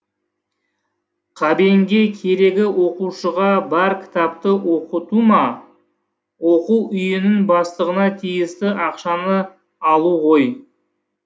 қабенге керегі оқушыға бар кітапты оқыту ма оқу үйінің бастығына тиісті ақшаны алу ғой